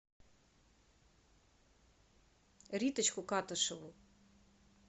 риточку катышеву